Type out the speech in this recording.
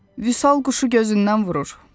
Vüsal quşu gözündən vurur.